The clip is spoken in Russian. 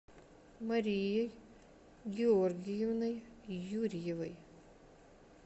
марией георгиевной юрьевой